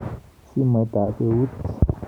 Simoitab eut.